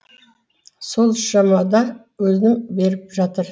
сол шамада өнім беріп жатыр